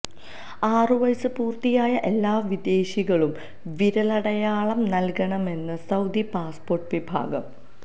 ആറ് വയസ് പൂര്ത്തിയായ എല്ലാ വിദേശികളും വിരലടയാളം നല്കണമെന്ന് സൌദി പാസ്പോര്ട്ട് വിഭാഗം